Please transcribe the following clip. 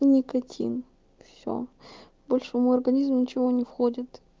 никоким все больше в его организм ничего не входит